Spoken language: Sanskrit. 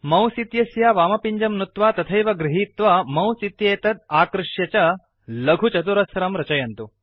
मौस् इत्यस्य वामपिञ्जं नुत्वा तथैव गृहीत्वा मौस् इत्येतत् आकृश्य च लघु चतुरस्रं रचयन्तु